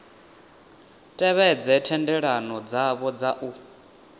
tevhedze thendelano dzavho dza u